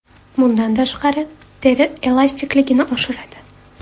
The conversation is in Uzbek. Bundan tashqari, teri elastikligini oshiradi.